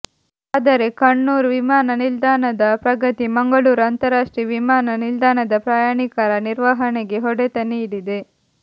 ಆದರೆ ಕಣ್ಣೂರು ವಿಮಾನ ನಿಲ್ದಾಣದ ಪ್ರಗತಿ ಮಂಗಳೂರು ಅಂತಾರಾಷ್ಟ್ರೀಯ ವಿಮಾನ ನಿಲ್ದಾಣದ ಪ್ರಯಾಣಿಕರ ನಿರ್ವಹಣೆಗೆ ಹೊಡೆತ ನೀಡಿದೆ